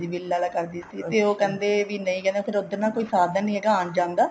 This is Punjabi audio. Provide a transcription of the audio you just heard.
ਬਿਲ ਆਲਾ ਕਰਦੀ ਸੀ ਤੇ ਉਹ ਕਹਿੰਦੇ ਵੀ ਨਹੀਂ ਜਾਣਾ ਉੱਧਰ ਨਾ ਕੋਈ ਸਾਧਨ ਨੀ ਆਉਣ ਜਾਣ ਦਾ